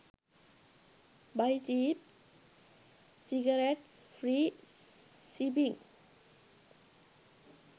buy cheap cigarettes free shipping